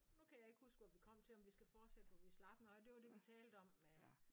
Nu kan jeg ikke huske hvor vi kom til om vi skal fortsætte hvor vi slap nåh ja det var det vi talte om med